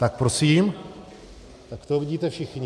Tak prosím, takto je vidíte všichni.